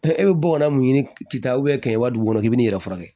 e bɛ bɔgɔ la mun ɲini k'i kɛ ta kɛmɛ duuru i bɛ n'i yɛrɛ furakɛ